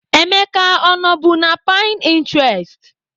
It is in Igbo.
Emeka ọ nọbu na Pininterest?